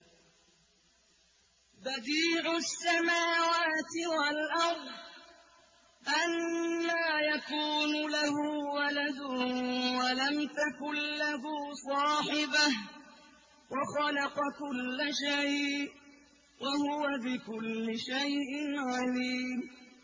بَدِيعُ السَّمَاوَاتِ وَالْأَرْضِ ۖ أَنَّىٰ يَكُونُ لَهُ وَلَدٌ وَلَمْ تَكُن لَّهُ صَاحِبَةٌ ۖ وَخَلَقَ كُلَّ شَيْءٍ ۖ وَهُوَ بِكُلِّ شَيْءٍ عَلِيمٌ